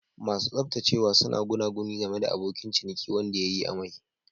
Masu tsaftacewa suna gunaguni game da abokin ciniki wanda ya yi amai.